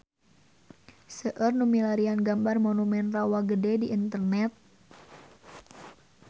Seueur nu milarian gambar Monumen Rawa Gede di internet